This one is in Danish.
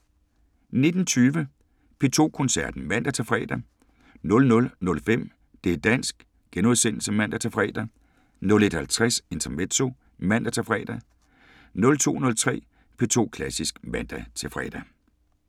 19:20: P2 Koncerten (man-fre) 00:05: Det´ dansk *(man-fre) 01:50: Intermezzo (man-fre) 02:03: P2 Klassisk (man-fre)